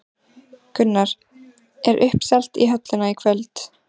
Gunnar, er uppselt í höllina í kvöld?